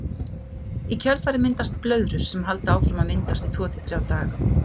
Í kjölfarið myndast blöðrur sem halda áfram að myndast í tvo til þrjá daga.